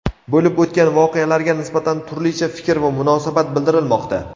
Bo‘lib o‘tgan voqealarga nisbatan turlicha fikr va munosabat bildirilmoqda.